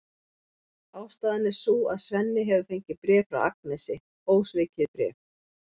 Ástæðan er sú að Svenni hefur fengið bréf frá Agnesi, ósvikið bréf!